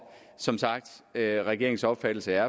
som sagt er er regeringens opfattelse